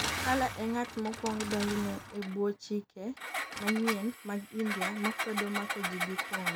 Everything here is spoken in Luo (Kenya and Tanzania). Salla e ng'at mokwong' donjne e bwo chike manyien mag India makwedo mako ji gi thwon